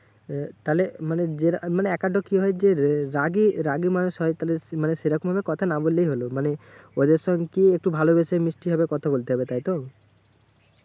এ তাহলে মানে যে মানে একেকটা কি হয় যে, রাগী রাগী মানুষ হয় তাহলে মানে সেরকমভাবে কথা না বললেই হলো। মানে ওদের সঙ্গে একটু ভালোবেসে মিশতে হবে কথা বলতে হবে, তাই তো?